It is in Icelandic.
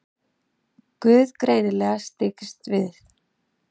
Guð greinilega styggst við.